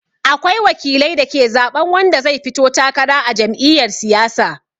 Akwai wakilai da ke zaɓan wanda zai fito takara a jam'iyar siyasa.